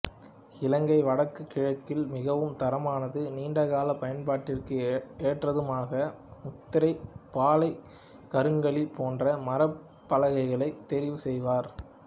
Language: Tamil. இலங்கை வடக்கு கிழக்கில் மிகவும் தரமானதும் நீண்டகால பயன்பாட்டிற்கு ஏற்றதுமாக முதிரை பாலை கருங்காலி போன்ற மரப் பலகைகளையே தெரிவுசெய்வர்